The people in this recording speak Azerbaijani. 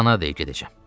Kanadaya gedəcəm.